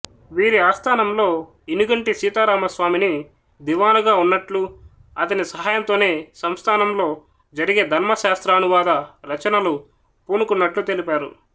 వీరి ఆస్థానంలో ఇనుగంటి సీతారామస్వామిని దివానుగా వున్నట్లు అతని సహాయంతోనే సంస్థానంలో జరిగే ధర్మశాస్త్రానువాద రచనలు పూనుకున్నట్లు తెలిపారు